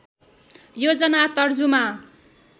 योजना तर्जुमा